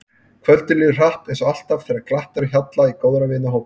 Kvöldið líður hratt eins og alltaf þegar glatt er á hjalla í góðra vina hópi.